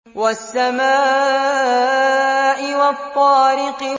وَالسَّمَاءِ وَالطَّارِقِ